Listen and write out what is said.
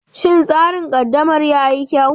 Shin tsarin ƙaddamar yi kyau?